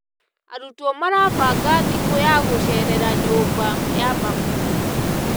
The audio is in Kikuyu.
Arutwo marabanga thikũ ya gũcerera nyũmba ya mabuku.